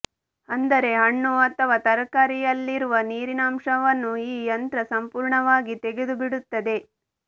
ಅಂದರೆ ಹಣ್ಣು ಅಥವಾ ತರಕಾರಿಯಲ್ಲಿರುವ ನೀರಿನಾಂಶವನ್ನು ಈ ಯಂತ್ರ ಸಂಪೂರ್ಣವಾಗಿ ತೆಗೆದುಬಿಡುತ್ತದೆ